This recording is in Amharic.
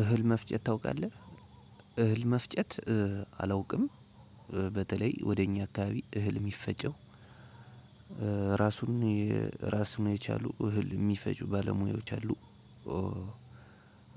እህል መፍጨት ታውቃለህ? እህል መፍጨት አላውቅም። በተለይ ወደ እኛ አካባቢ እህል የሚፈጨው እራሱን እራሱን የቻሉ እህል የሚፈጩ ባለሙያዎች አሉ።